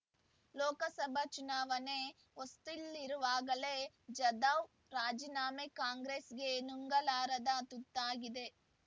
ಲೋಕಸಭಾ ಚುನಾವಣೆ ಹೊಸ್ತಿಲ್ಲಿರುವಾಗಲೇ ಜಾಧವ್ ರಾಜೀನಾಮೆ ಕಾಂಗ್ರೆಸ್‌ಗೆ ನುಂಗಲಾರದ ತುತ್ತಾಗಿದೆ